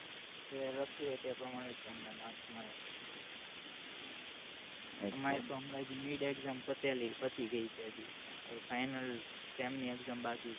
જે લખ્યું હોય તે પ્રમાણે જ તમ ને marks મળે અમારે તો એન્ગ્રજી mid exam પતે લી પતી ગઈ છે હજી finalsem ની exam બાકી છે